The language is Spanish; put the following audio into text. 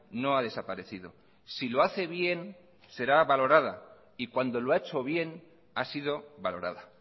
no ha desaparecido si lo hace bien será valorada y cuando lo ha hecho bien ha sido valorada